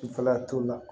Kunfɛla t'o la